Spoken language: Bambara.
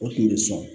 O tun bɛ sɔn